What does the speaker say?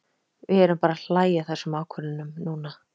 Við erum bara að hlæja að þessum ákvörðunum núna.